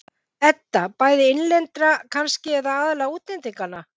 Edda: Bæði innlendra kannski, eða aðallega útlendinganna?